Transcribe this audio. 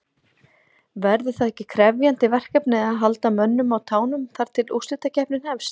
Verður það ekki krefjandi verkefni að halda mönnum á tánum þar til að úrslitakeppnin hefst?